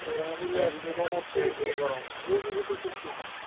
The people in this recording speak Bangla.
খুব বেশি